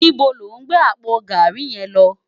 Nibó ló n gbé àpó gàrí yèn lò?